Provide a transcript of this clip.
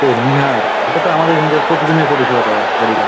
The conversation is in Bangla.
ও নিহার এটা তো আমাদের এখানকার প্রতিদিনের পরিষেবা দাদা বাড়িতে --